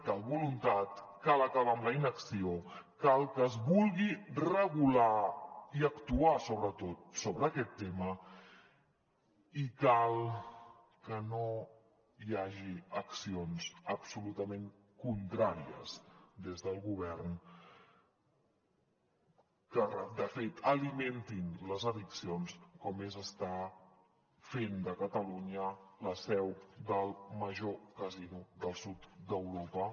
cal voluntat cal acabar amb la inacció cal que es vulgui regular i actuar sobretot sobre aquest tema i cal que no hi hagi accions absolutament contràries des del govern que de fet alimentin les addiccions com és estar fent de catalunya la seu del major casino del sud d’europa